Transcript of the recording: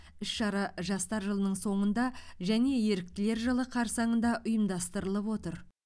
іс шара жастар жылының соңында және еріктілер жылы қарсаңында ұйымдастырылып отыр